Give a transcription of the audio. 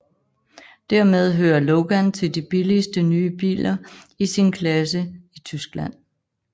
Dermed hører Logan til de billigste nye biler i sin klasse i Tyskland